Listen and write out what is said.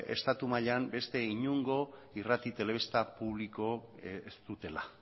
estatu mailan beste inongo irrati telebista publiko ez dutela